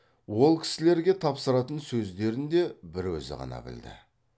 ол кісілерге тапсыратын сөздерін де бір өзі ғана білді